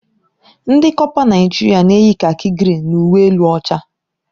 Ndị kọpa Naijiria na-eyi kaki grịn na uwe elu ọcha.